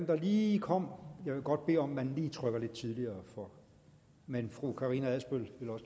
der lige kom jeg vil godt bede om at man lige trykker lidt tidligere men fru karina adsbøl